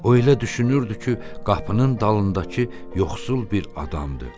O elə düşünürdü ki, qapının dalındakı yoxsul bir adamdır.